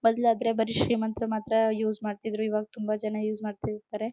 ಮೊದಲಾದರೆ ಬರಿ ಶ್ರೀಮಂತರು ಮಾತ್ರ ಯೂಸ್ ಮಾಡ್ತಿದ್ರು ಇವಾಗ ತುಂಬಾ ಜನ ಯೂಸ್ ಮಾಡ್ತಿರ್ತಾರೆ.